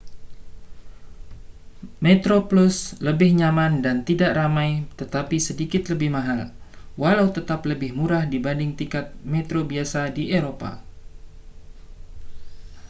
metroplus lebih nyaman dan tidak ramai tetapi sedikit lebih mahal walau tetap lebih murah dibanding tiket metro biasa di eropa